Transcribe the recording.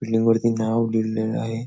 Building वरती नाव दिलेल आहे.